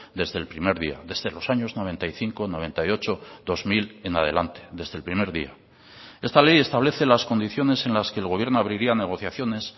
desde el primer día desde los años noventa y cinco noventa y ocho dos mil en adelante desde el primer día esta ley establece las condiciones en las que el gobierno abriría negociaciones